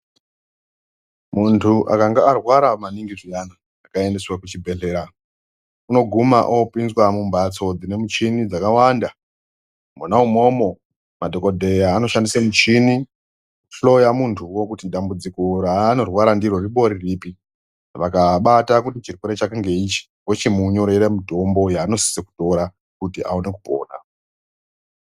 Muntu akanga arwara maningi zviyani akaendeswa kuchibhedhleya unoguma opinzwa mumphatso dzine michini dzakawanda mwona imwomwo madhokodheya anoshandisa michini kuhloya muntuwo kuti dambudziko raanorwara ndiro rimbori ripi vakabata kuti chirwere chake ndeichi vochimunyorere mutombo yaanosise kutora kuti awone kupona.